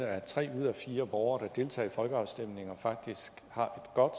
at tre ud af fire borgere der deltager i folkeafstemninger faktisk har et godt